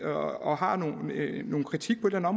og har en kritik på et eller